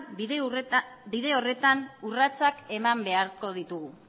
bide horretan urratsak eman beharko ditugu